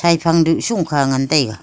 haphang du shung kha ngan taiga.